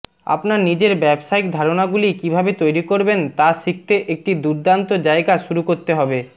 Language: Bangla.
আপনার নিজের ব্যবসায়িক ধারণাগুলি কীভাবে তৈরি করবেন তা শিখতে একটি দুর্দান্ত জায়গা শুরু করতে হবে